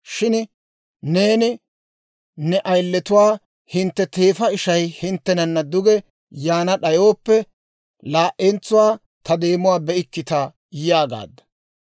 Shin neeni ne ayiletuwaa, ‹Hintte teefa ishay hinttenana duge yaana d'ayooppe, laa"entsuwaa ta deemuwaa be'ikkita› yaagaadda.